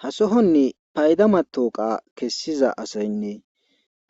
Ha sohonni paydama tooqa kessiza asaynne